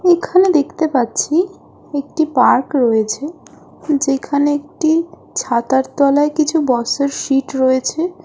এখানে দেখতে পাচ্ছি একটি পার্ক রয়েছে। যেখানে একটি ছাতার তলায় কিছু বসার সিট রয়েছে।